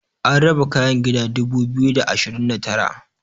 an raba kayan gida dubu biyu da ashirin da Tara